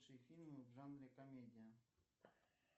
лучшие фильмы в жанре комедия